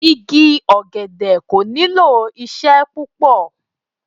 Igi ọ̀gẹ̀dẹ̀ kò nílò ìṣe púpọ̀.